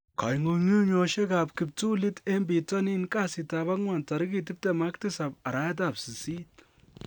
Kong'ung'unyosiek ab kiptulit en bitonin kasitab ang'wan tarigit 27/08.